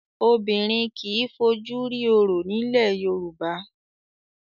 Obìnrin kì í fojú rí Orò ní ilẹ̀ Yorùbá.